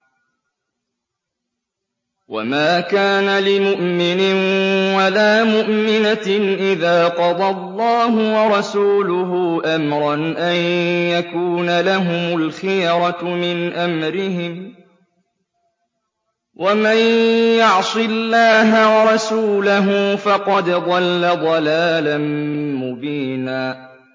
وَمَا كَانَ لِمُؤْمِنٍ وَلَا مُؤْمِنَةٍ إِذَا قَضَى اللَّهُ وَرَسُولُهُ أَمْرًا أَن يَكُونَ لَهُمُ الْخِيَرَةُ مِنْ أَمْرِهِمْ ۗ وَمَن يَعْصِ اللَّهَ وَرَسُولَهُ فَقَدْ ضَلَّ ضَلَالًا مُّبِينًا